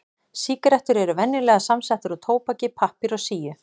Sígarettur eru venjulega samsettar úr tóbaki, pappír og síu.